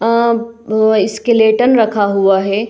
अ अ स्केलेटन रखा हुआ है |